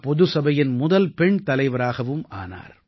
பொதுசபையின் முதல் பெண் தலைவராகவும் ஆனார்